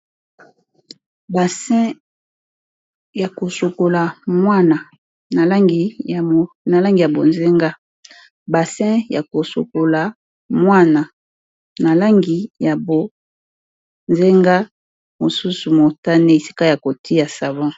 langi ya bassin ya kosokola eza bonzenga na mosusu motane esika ba tiyaka savon.